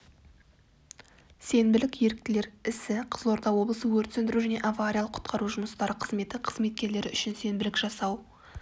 сенбілік еріктілер ісі қызылорда облысы өрт өндіру және авариялық құтқару жұмыстары қызметі қызметкерлері үшін сенбілік жасау